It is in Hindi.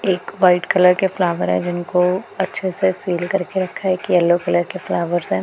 एक वाइट कलर के फ्लावर है जिनको अच्छे से सील करके रखा है एक येलो कलर के फ्लावर्स है।